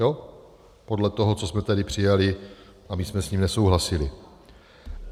Jo, podle toho, co jsme tady přijali, a my jsme s tím nesouhlasili.